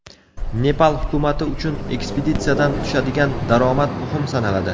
Nepal hukumati uchun ekspeditsiyadan tushadigan daromad muhim sanaladi.